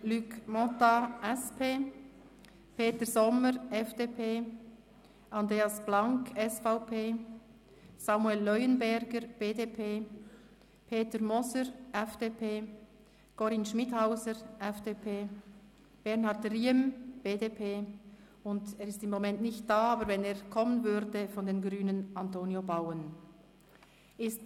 Luc Mentha (SP), Peter Sommer (FDP), Andreas Blank (SVP), Samuel Leuenberger (BDP), Peter Moser (FDP), Corinne Schmidhauser (FDP), Bernhard Riem (BDP) und – er ist im Moment nicht da, aber wenn er kommen würde – Antonio Bauen (Grüne).